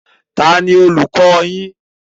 Taàní olùkọ́ yín?